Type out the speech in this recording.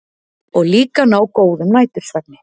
Og líka ná góðum nætursvefni.